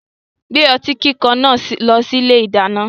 Gbé ọtí kíkan náà lọ sí ilé-ìdáná.